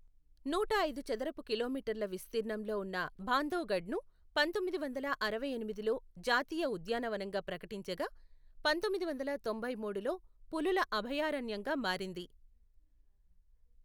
నూట ఐదు చదరపు కిలోమీటర్ల విస్తీర్ణంలో ఉన్న బాంధవ్గఢ్ను పంతొమ్మిది వందల అరవై ఎనిమిదిలో జాతీయ ఉద్యానవనంగా ప్రకటించగా, పంతొమ్మిది వందల తొంభై మూడులో పులుల అభయారణ్యంగా మారింది.